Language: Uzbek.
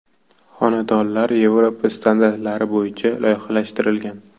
Xonadonlar Yevropa standarti bo‘yicha loyihalashtirilgan.